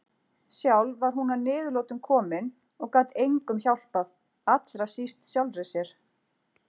Sjálf var hún að niðurlotum komin og gat engum hjálpað, allra síst sjálfri sér.